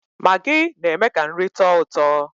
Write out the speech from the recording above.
Magị na-eme ka nri tọọ ụtọ